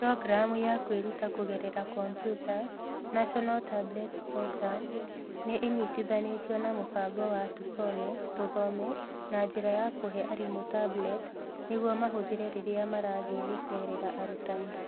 Programu ya kwĩruta kũgerera kompiuta (National Tablets Program) nĩ ĩnyitithanĩtio na mũbango wa Tusome (Tũthome) na njĩra ya kũhe arimũ tablet nĩguo mahũthĩre rĩrĩa marathiĩ gũceerera arutani.